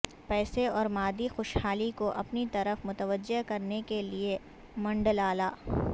پیسے اور مادی خوشحالی کو اپنی طرف متوجہ کرنے کے لئے منڈلالا